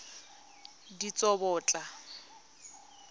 ditsobotla